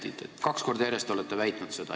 Te olete seda kaks korda järjest väitnud.